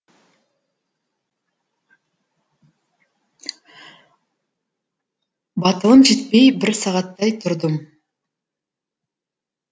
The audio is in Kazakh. батылым жетпей бір сағаттай тұрдым